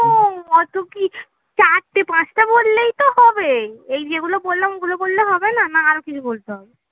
অত কি চারটে পাঁচটা বললেই তো হবে এই যেগুলো বললাম ওগুলো বললে হবে না? না আরো কিছু বলতে হবে